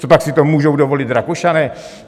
Copak si to můžou dovolit Rakušané?